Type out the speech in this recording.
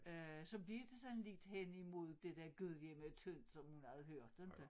Øh så blev det sådan lidt hen i mod det der gudhjemmetyndt som hun havde hørt inte